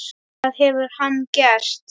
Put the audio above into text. Það hefur hann gert.